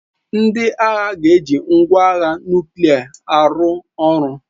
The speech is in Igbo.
Ndị agha ga-eji ngwa agha nuklia arụ ọrụ.